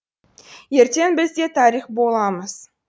ертең біз де тарих боламыз